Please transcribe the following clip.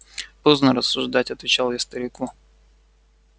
поздно рассуждать отвечал я старику